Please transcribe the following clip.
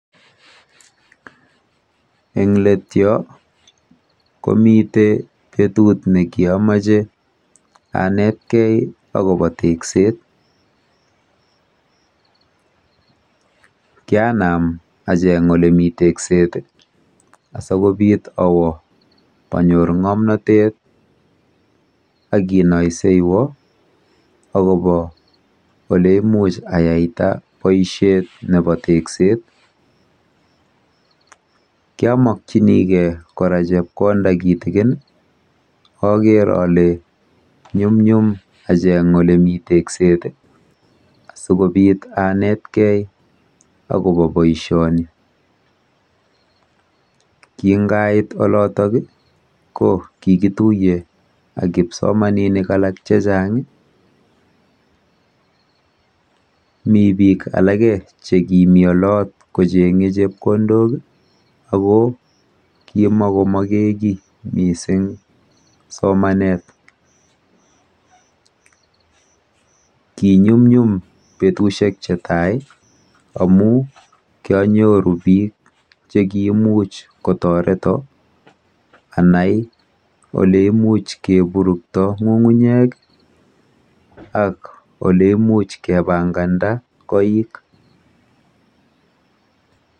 Eng Let yo komite betut nekiamache anetkei akobo tekset. Kianam awo olemi tekset asikobit anyor ng'omnatet akinayseywa akobo oleimuch ayaita boisiet nebo tekset. Kiamakyinigei kora chepkonda kitikin akeer ale nyumnyum acheng olemi tekset